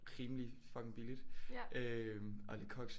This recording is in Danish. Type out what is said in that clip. Rimelig fucking billigt øh og Le Coq